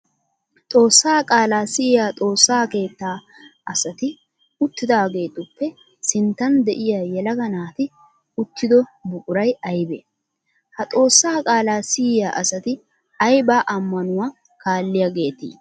Xoossaa qaala siyiyaa xoossa keetta asati uttidaageetuppe sinttan de'iyaa yelaga naati uttido buquray aybee? Ha xoossaa qaala siyiya asati aybba ammanuwaa kaalliyaageeti?